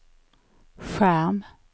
skärm